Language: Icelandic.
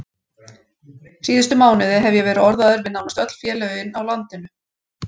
Síðustu mánuði hef ég verið orðaður við nánast öll félögin á landinu.